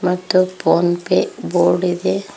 ಮತ್ತು PhonePe board ಇದೆ.